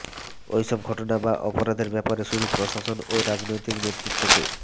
ওইসব ঘটনা বা অপরাধের ব্যাপারে শুধু প্রশাসন ও রাজনৈতিক নেৃতত্বকে